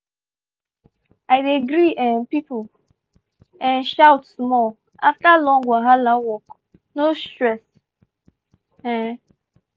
i dey gree um people um shout small after long wahala work no stress um